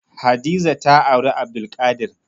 Hadiza ta auri Abdulkadir.